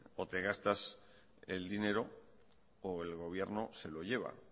o te gastas el dinero o el gobierno se lo lleva